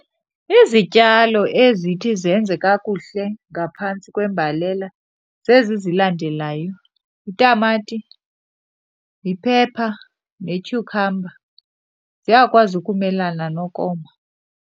Izityalo ezithi zenze kakuhle ngaphantsi kwembalela zezi zilandelayo, yitamati, yi-pepper ne-cucumber. Ziyakwazi ukumelana nokoma.